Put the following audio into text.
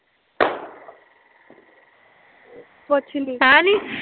ਕੁਛ ਨੀ